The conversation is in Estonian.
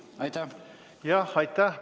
Jah, aitäh!